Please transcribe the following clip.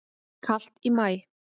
Kalt í maí